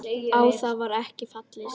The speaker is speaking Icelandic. Á það var ekki fallist.